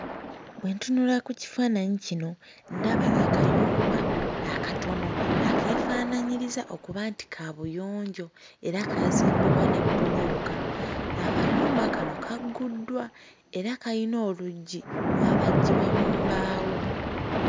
Bwe ntunula ku kifaananyi kino ndaba akayumba akatono akeefaanaanyiriza okuba nti kaabuyonjo era kaazimbibwa ne bbulooka. Akayumba kano kagguddwa era kayina oluggi lwabajjibwa mu mbaawo.